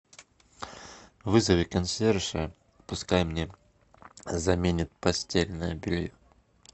вызови консьержа пускай мне заменят постельное белье